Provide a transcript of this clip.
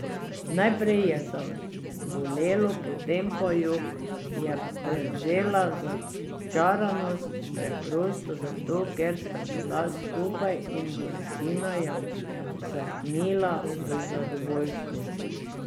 Najprej je zabolelo, potem pa jo je prevzela začaranost, preprosto zato, ker sta bila skupaj, in bolečina je usahnila v zadovoljstvo.